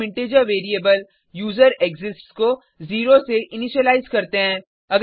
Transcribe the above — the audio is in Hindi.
फिर हम इंटीजर वेरिएबल यूजरेक्सिस्ट्स को 0 से इनिशिअलाइज़ करते हैं